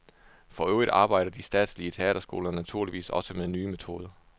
For øvrigt arbejder de statslige teaterskoler naturligvis også med nye metoder.